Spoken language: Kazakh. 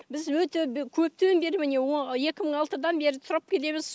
біз өте көптен бері міне екі мың алтыдан бері тұрып келеміз